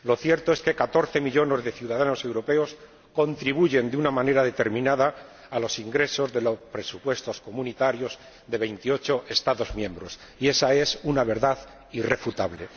Lo cierto es que 14 millones de ciudadanos europeos contribuyen de una manera determinada a los ingresos de los presupuestos comunitarios de 28 Estados miembros, y esa es una verdad irrefutable.